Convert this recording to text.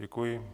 Děkuji.